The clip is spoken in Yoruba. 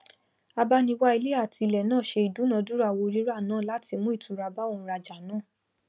abániwá ilé àti ilẹ náà se ìdúnádúrà owó rírà náa látí mú ìtura bá òǹrajà náà